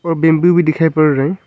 और बंबू भी दिखाई पड़ रहा है।